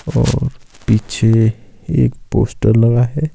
और पीछे एक पोस्टर लगा है।